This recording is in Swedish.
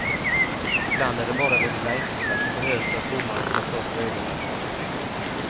Ibland är det bara det lilla extra som behövs för att domaren ska få upp ögonen.